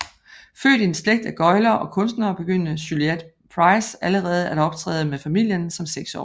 Født i en slægt af gøglere og kunstnere begyndte Juliette Price allerede at optræde med familien som seksårig